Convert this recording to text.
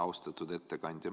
Austatud ettekandja!